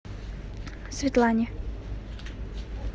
светлане